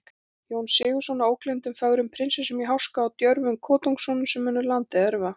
Jón Sigurðsson, að ógleymdum fögrum prinsessum í háska og djörfum kotungssonum, sem munu landið erfa.